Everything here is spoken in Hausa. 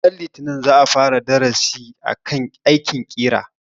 Ranar litinin za a fara darasin akan aikin ƙera.